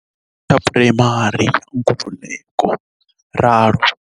Tshikolo tsha Phuraimari tsha Nkululeko Ralo.